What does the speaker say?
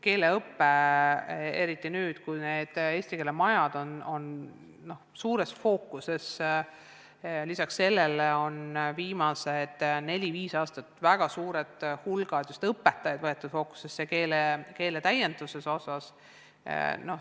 Eriti nüüd, kui need eesti keele majad on suuresti fookuses, on viimasel neljal-viiel aastat enesetäiendust saanud suur hulk õpetajaid.